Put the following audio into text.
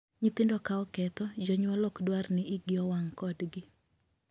Nyithindo ka oketho, jonyuol ok dwar ni iigi owang' kodgi.